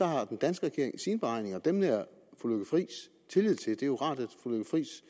har den danske regering sine beregninger og dem nærer fru lykke friis tillid til det er jo rart at fru lykke friis